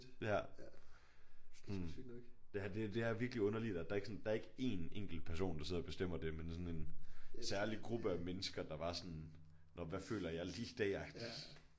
Ja sådan ja det er det er virkelig underligt at der ikke sådan der er ikke en enkelt person der sidder og bestemmer det men sådan en særlig gruppe af mennesker der bare sådan nåh hvad føler jeg lige i dag agtigt